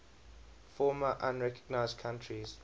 former unrecognized countries